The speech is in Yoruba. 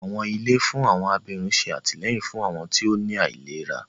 Àwọn ilé fún àwọn abirùn ṣé àtìlẹ́yìn fún àwọn tí ó ní àìlera